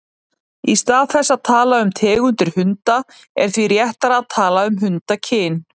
Í stað þess að tala um tegundir hunda er því réttara að tala um hundakyn.